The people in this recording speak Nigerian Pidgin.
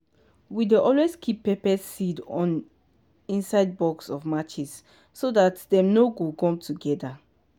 we dey always keep pepper seed on inside box of matches so that dem nor go gum together.